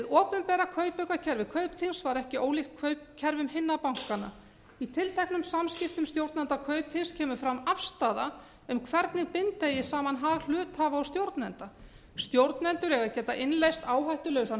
opinbera kaupaukakerfi kaupþings var ekki ólíkt kaupkerfum hinna bankanna í tilteknum samskiptum stjórnenda kaupþings kemur fram afstaða um hvernig binda eigi saman hag hluthafa og stjórnenda stjórnendur eiga að geta innleitt áhættulausan